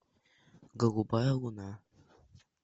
голубая луна